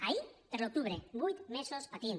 ahir per a l’octubre vuit mesos patint